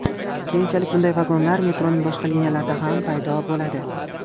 Keyinchalik bunday vagonlar metroning boshqa liniyalarida ham paydo bo‘ladi.